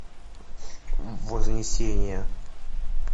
вознесение